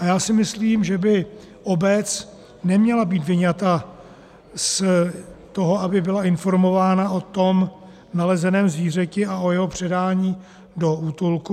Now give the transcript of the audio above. A já si myslím, že by obec neměla být vyňata z toho, aby byla informována o tom nalezeném zvířeti a o jeho předání do útulku.